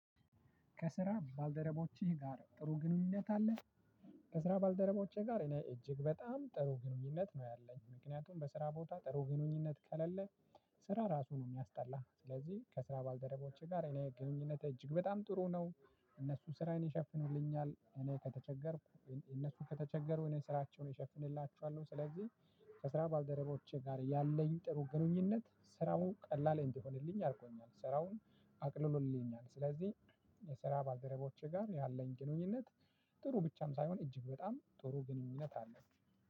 ከስራ ባልደረቦችህ ጋር ጥሩ ግንኙነት አለህ? ከስራ ባልደረቦቸ ጋር እኔ እጅግ በጣም ጥሩ ግንኙነት ነው ያለኝ ምክንያቱም በስራ ቦታ ጥሩ ግንኙነት ከሌለ። ስራ ራሱ ነው የሚያስጠላህ። ስለዚህ ከስራ ባልደረቦቼ ጋር እኔ ግንኙነት እጅግ በጣም ጥሩ ነው። እነሱ ስራዬን ይሸፍኑልኛል እኔ ከተቸገርኩ እነሱ ከተቸገሩ እኔ ስራቸውን እሸፍንላቸዋለሁ። ስለዚህ ከስራ ባልደረቦቼ ጋር ያለኝ ጥሩ ግንኙነት ስራው ቀላል እንዲሆንልኝ አርጎኛል ስራውን አቅልሎልኛል። ስለዚህ የስራ ባደረቦቼ ጋር ያለኝ ግኑኝነት ጥሩ ብቻም ሳይሆን እጅግ በጣም ጥሩ ግንኙነት አለ።